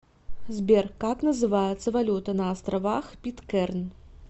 сбер как называется валюта на островах питкэрн